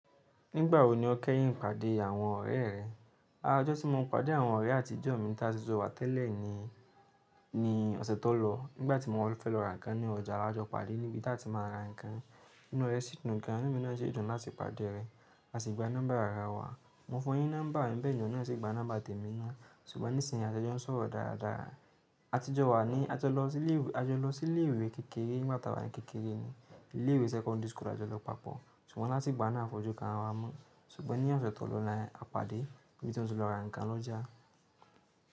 Nígbà wo ni o kẹ́yìn pàdé àwọn ọ̀rẹ́ rẹ? Ara ọjọ́ tí mo ń pàdé àwọn ọ̀rẹ́ àtijọ́ mi tí a tì jo wà tẹ́lẹ̀ ni, ní ọ̀sẹ̀ tó lọ. Nígbà tí mo fẹ́ lọ ra nǹkan ní ọjà awa jọ pàde níbi tí a ti máa ń ra nǹkan. Inú rẹ̀ sì dùn gan an, ẹnu mi náà ṣi dùn láti pàdé rẹ̀. A sì gba nọ́mbà ara wa. Mo fún un ní nọ́mbà, beeni ohun náà sì gba nọ́mbà tèmi ná. Ṣùgbọ́n nísinsìnyí a ti jo ń sọ̀rọ̀ dára dára. Àtijọ́ wa ni a jọ lọ sí ilé ìwé kékeré nígbà tá wà ní kékeré ni. Ilé ìwé sẹ́kọ́ndírì tí a jọ lọ papọ̀. Ṣùgbọ́n láti ìgbà náà à fojú kan ra wa mon. Ṣùgbọ́n ní ọ̀sẹ̀ tó lọ yen, a pàdé níbi tí moti lọ ra nǹkan lọ́jà.